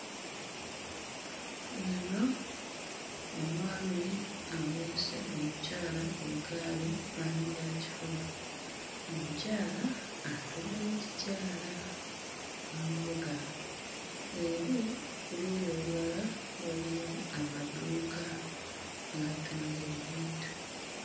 Ono omwami aweese omukyala ku ggaali maanyigakifuba omukyala atuddeko kikyala bamuvuga eri ku luuyi olulala waliyo amaduuka agatunda ebintu.